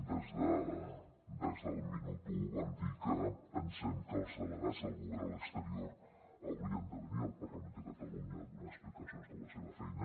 des del minut u vam dir que pensem que els delegats del govern a l’exterior haurien de venir al parlament de catalunya a donar explicacions de la seva feina